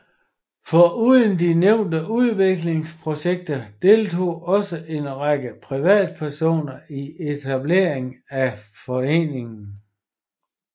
Foruden de nævnte udviklingsprojekter deltog også en række privatpersoner i etableringen af foreningen